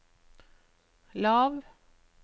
lav